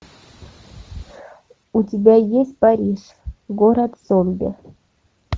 у тебя есть париж город зомби